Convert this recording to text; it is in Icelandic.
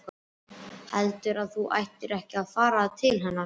Heldurðu að þú ættir ekki að fara til hennar?